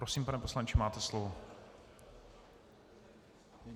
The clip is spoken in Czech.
Prosím, pane poslanče, máte slovo.